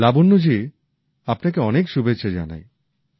লাবণ্য জি আপনাকে অনেক শুভেচ্ছা জানাই